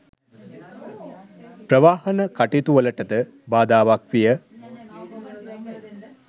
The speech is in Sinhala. ප්‍රවාහන කටයුතු වලටද බාධාවක් විය